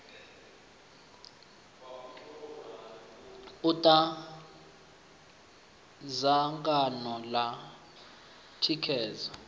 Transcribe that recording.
u ta dzangano ḽa thikhedzo